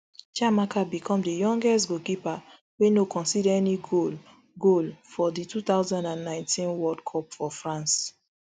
chiamaka become di youngest goalkeeper wey no concede any goal goal for di two thousand and nineteen world cup for france